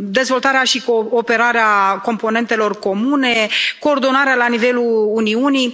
dezvoltarea și operarea componentelor comune, coordonarea la nivelul Uniunii.